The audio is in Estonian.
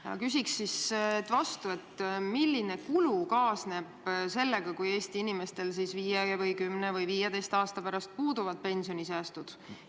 " Ma küsin siis vastu, milline kulu kaasneb sellega, kui Eesti inimestel viie, kümne või 15 aasta pärast puuduvad pensionisäästud.